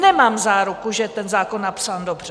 Nemám záruku, že je ten zákon napsán dobře.